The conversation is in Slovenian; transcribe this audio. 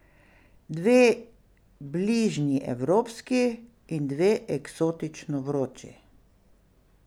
Dve bližnji evropski in dve eksotično vroči.